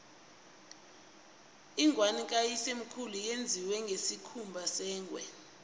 ingwani kayisemkhulu yenziwe ngesikhumba sengwe